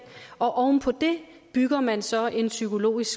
og oven på det bygger man så en psykologisk